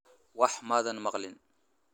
Waxba maadan maqlin?